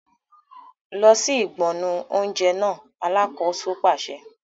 Lọ sí ìgbọnnu oúnjẹ náà! Alákòóso pàṣẹ.